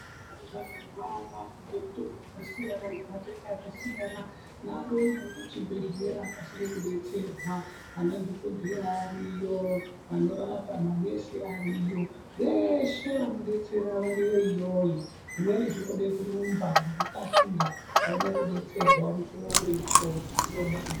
Muntu akarwara nge mutombo yaka siyana nge matenda aka siyana nga arumbe ayende ku chibhedhlera akasire ku detserwa ana dhokodheya ariyo vano rapa manesi ariyo veshe vano detsera variyo iyoyo zvimweni zvinode kurumba ngeku kasira muone ku detserwa mukuwo uripo .